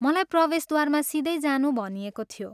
मलाई प्रवेशद्वारमा सिधै जानु भनिएको थियो।